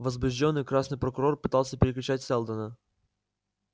возбуждённый красный прокурор пытался перекричать сэлдона